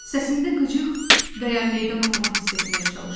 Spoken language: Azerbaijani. Səsində qıcıq və ya meydan oxuma hiss etməyə çalışdım.